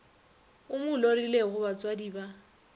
o mo lorilego batswadi ba